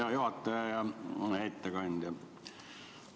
Hea juhataja ja ettekandja!